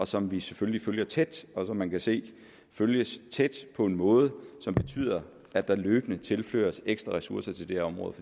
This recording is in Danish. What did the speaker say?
som vi selvfølgelig følger tæt og som man kan se følges tæt på en måde som betyder at der løbende tilføres ekstra ressourcer til det her område